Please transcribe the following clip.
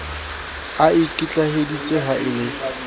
a ikitlaheditse ha e le